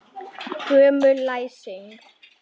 Gömul læsing.